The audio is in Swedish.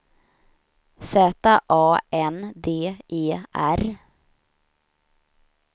Z A N D E R